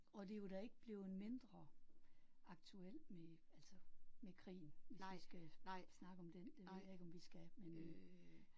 Og det er jo da ikke blevet mindre aktuelt med altså med krigen hvis vi skal snakke om den det ved jeg ikke om vi skal men øh